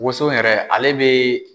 Woso yɛrɛ ale bɛ